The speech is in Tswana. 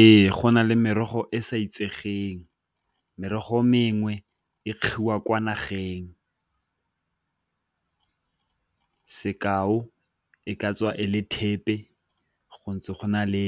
Ee, go na le merogo e sa itsegeng merogo mengwe e kwa nageng, sekao e ka tswa e le thepe go ntse go na le